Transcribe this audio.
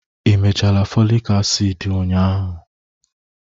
ị mechala folic acid ụnyahụ?